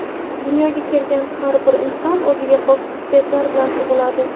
Dunyoga kelgan har bir inson o‘ziga xos xususiyatlar bilan tug‘iladi.